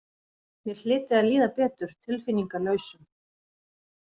Mér hlyti að líða betur tilfinningalausum.